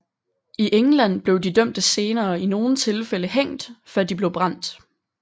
I England blev de dømte senere i nogle tilfælde hængt før de blev brændt